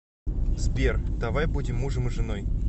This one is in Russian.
сбер давай будем мужем и женой